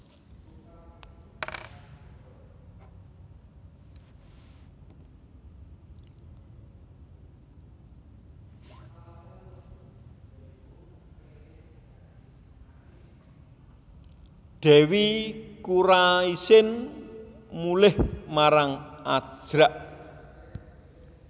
Dèwi Kuraisin mulih marang Ajrak